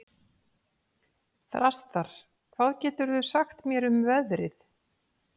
Þrastar, hvað geturðu sagt mér um veðrið?